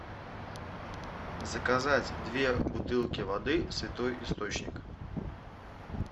заказать две бутылки воды святой источник